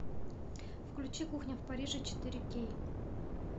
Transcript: включи кухня в париже четыре кей